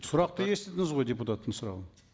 сұрақты естідіңіз ғой депутаттың сұрағын